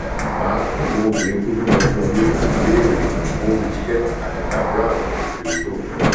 mà á fún àwọn obìnrin tó bímọ fún ọ ní ìwé ìrìnnà fún iṣẹ anita brown sọ fún dávido